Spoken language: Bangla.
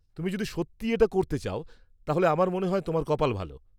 তুমি যদি সত্যিই এটা করতে চাও, তাহলে আমার মনে হয় তোমার কপাল ভাল।